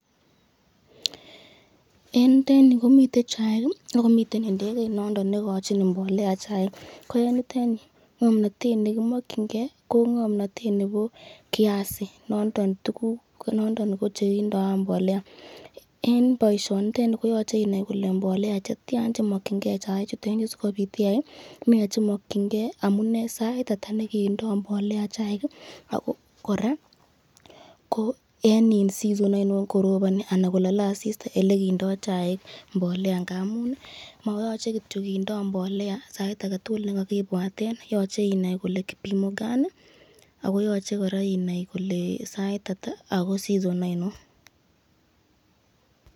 En yutet yuu komiten chaik ak komiten inekeit noton nekochin mbolea chaik, ko en yuton yuu ng'omnotet nekimokying'e ko ng'omnotet nebo kiasi, noton tukuk ko nondon ko chekindo mbolea, en boishonitet nii koyoche inaii ilee mbolea chetian chemokying'ee chaichutet sikobiit iyaii, nee chemokying'ee, amunee sait ataa nekindo mbolea chaik ak ko kora ko en season ainon koroboni anan kolole asista en elekindo chaik mbolea ng'amun moyoche kindo mbolea sait aketukul nekakibwaten, yoche inaii kolee kipimo gani ak koyoche kora inaii kolee saitata ak ko season ainon.